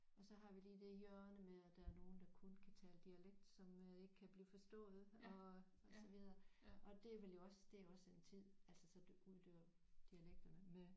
Og så har vi lige det hjørne med at der er nogle der kun kan tale dialekt som øh ikke kan blive forstået og og så videre og det er vel også det er også en tid altså så uddør dialekterne